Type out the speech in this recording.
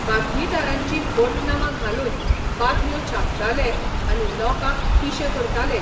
बातमीदारांचीं फट नांवां घालून बातम्यो छापताले आनी लोकांक पिशे करताले.